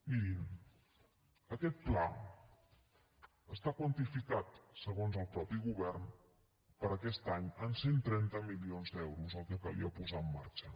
mirin aquest pla està quantificat segons el mateix govern per a aquest any en cent i trenta milions d’euros el que calia posar en marxa